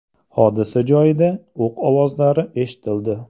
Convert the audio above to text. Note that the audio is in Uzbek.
Hodisa joyida o‘q ovozlari eshitildi.